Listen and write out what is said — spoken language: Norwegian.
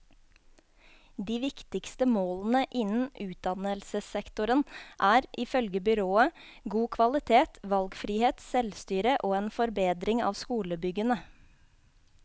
De viktigste målene innen utdannelsessektoren er, ifølge byrådet, god kvalitet, valgfrihet, selvstyre og en forbedring av skolebyggene.